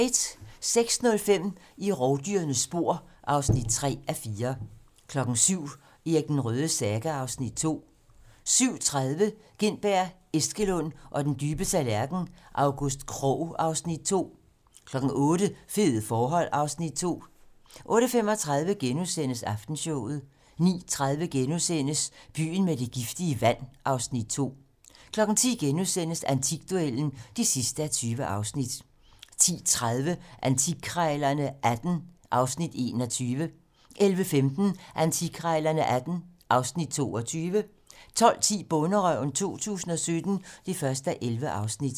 06:05: I rovdyrenes spor (3:4) 07:00: Erik den Rødes saga (Afs. 2) 07:30: Gintberg, Eskelund og den dybe tallerken: August Krogh (Afs. 2) 08:00: Fede forhold (Afs. 2) 08:35: Aftenshowet * 09:30: Byen med det giftige vand (Afs. 2)* 10:00: Antikduellen (20:20)* 10:30: Antikkrejlerne XVIII (Afs. 21) 11:15: Antikkrejlerne XVIII (Afs. 22) 12:10: Bonderøven 2017 (1:11)